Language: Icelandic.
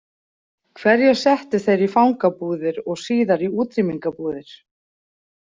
Hverja settu þeir í fangabúðir og síðar í útrýmingarbúðir?